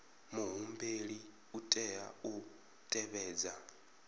muhumbeli u tea u tevhedza